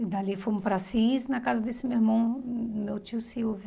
E dali fomos para Assis, na casa desse meu irmão, meu tio Silvio.